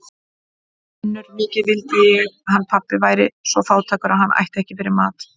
UNNUR: Mikið vildi ég hann pabbi væri svo fátækur að hann ætti ekki fyrir mat.